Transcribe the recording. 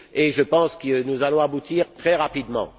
Je pense que nous allons aboutir très rapidement.